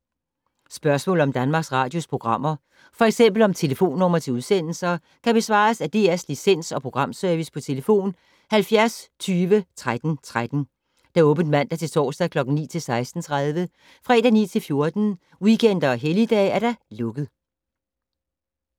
Spørgsmål om Danmarks Radios programmer, f.eks. om telefonnumre til udsendelser, kan besvares af DR Licens- og Programservice: tlf. 70 20 13 13, åbent mandag-torsdag 9.00-16.30, fredag 9.00-14.00, weekender og helligdage: lukket.